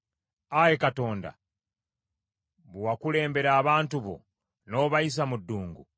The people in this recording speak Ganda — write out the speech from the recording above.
Ayi Katonda, bwe wakulembera abantu bo, n’obayisa mu ddungu,